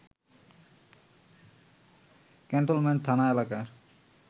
cantonment থানা এলাকার